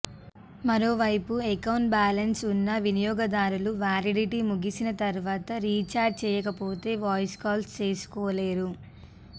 మరోవైపు account balance ఉన్నా వినియోగదారులు వ్యాలిడిటీ ముగిసిన తర్వాత రీచార్జ్ చేయకపోతే వాయిస్ కాల్స్ చేసుకోలేరు